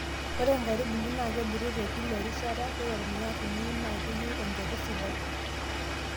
ore inkaitubulu NAA kebulu tekila erishata, ore ormuya tiniun NAA keyieu empeku sidai